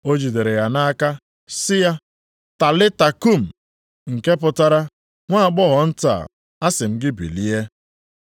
O jidere ya nʼaka sị ya, \+wj “Talita koum!”\+wj* (nke pụtara, “Nwa agbọghọ nta, asị m gị bilie!”).